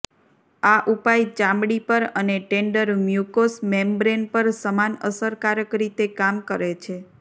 આ ઉપાય ચામડી પર અને ટેન્ડર મ્યુકોસ મેમ્બ્રેન પર સમાન અસરકારક રીતે કામ કરે છે